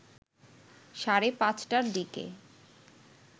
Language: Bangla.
সাড়ে ৫টার দিকে